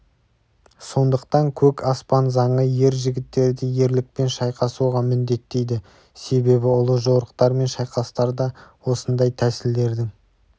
сондықтан көк аспан заңы ер жігіттерді ерлікпен шайқасуға міндеттейді себебі ұлы жорықтар мен шайқастарда осындай тәсілдердің